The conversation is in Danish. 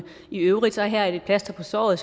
i øvrigt er her et plaster på såret og